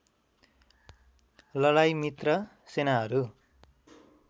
लडाई मित्र सेनाहरू